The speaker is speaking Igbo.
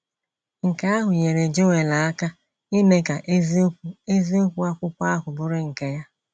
Nke ahụ nyeere Joel aka ime ka eziokwu eziokwu akwụkwọ ahụ bụrụ nke ya.